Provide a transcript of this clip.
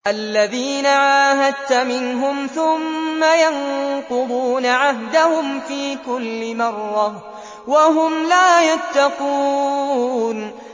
الَّذِينَ عَاهَدتَّ مِنْهُمْ ثُمَّ يَنقُضُونَ عَهْدَهُمْ فِي كُلِّ مَرَّةٍ وَهُمْ لَا يَتَّقُونَ